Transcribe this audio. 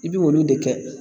I bi olu de kɛ